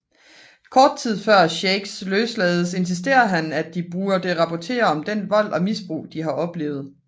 Kort tid før Shakes løslades insisterer han at de burde rapportere om den vold og misbrug de har oplevet